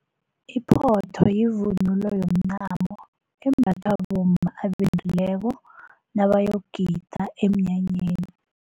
Iphotho yivunulo yomncamo embathwa bomma abendileko nabayogida emnyanyeni.